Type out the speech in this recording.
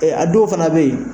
Ɛ a dow fana be yen